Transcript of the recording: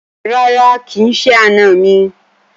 Rárá, kì í ṣe àna mi